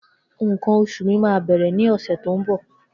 Nkan osu mi ma bere ni ose to nbo.